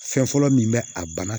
Fɛn fɔlɔ min bɛ a bana